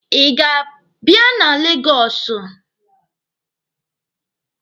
Ị ga-abịa na Legọsụ?